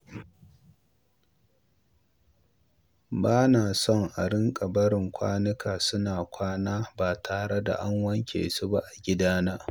Ba na so a riƙa barin kwanuka suna kwana ba tare da an wanke su ba a gidana.